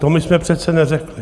To my jsme přece neřekli.